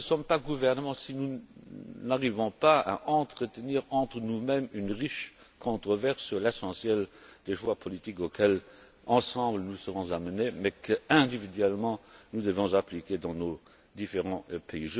Nous ne sommes pas un gouvernement si nous n'arrivons pas à entretenir entre nous mêmes une riche controverse sur l'essentiel des choix politiques auxquels ensemble nous serons amenés mais qu'individuellement nous devons appliquer dans nos différents pays.